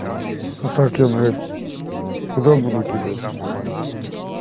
а так я блять куда буду кидать